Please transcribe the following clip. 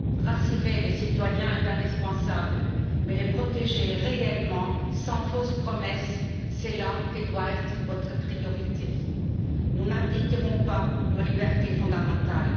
Rassurer les citoyens est indispensable, mais les protéger réellement sans fausses promesses, c'est là que doit être votre priorité. Nous ne renoncerons pas à nos libertés fondamentales.